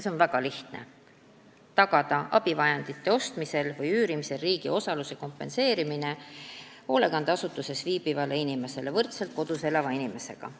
See on väga lihtne: tagada abivahendite ostmisel või üürimisel riigi osaluse kompenseerimine hoolekandeasutuses viibivale inimesele võrdselt kodus elava inimesega.